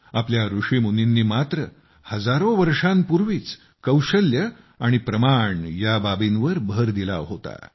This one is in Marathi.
आपल्या ऋषीमुनींनी मात्र हजारो वर्षांपूर्वीच कौशल्ये आणि प्रमाण या बाबींवर भर दिला होता